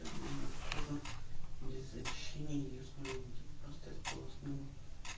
на кожу без ощущений основа